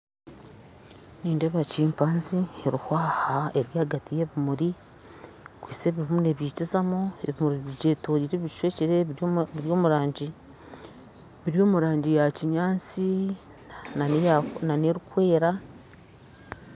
Nindeeba kimpanze eriho aha ahagati y'ebimuri ekwise ebimwe nebyikizamu ebyetoriire ebishwekire biri omu rangi ya kinyansi na n'erukwera